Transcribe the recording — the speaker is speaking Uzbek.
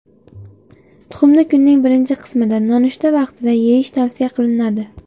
Tuxumni kunning birinchi qismida nonushta vaqtida yeyish tavsiya qilinadi.